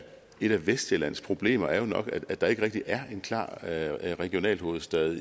et af vestsjællands problemer er jo nok at der ikke rigtig er en klar regionalhovedstad